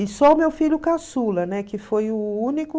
E só meu filho caçula, né, que foi o único...